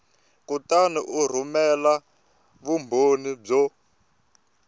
kutani u rhumela vumbhoni byo